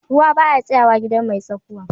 Ruwa ba ya tsayawa a gidan mai tsakuwa.